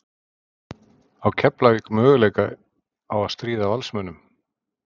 Á Keflavík möguleika á að stríða Valsmönnum?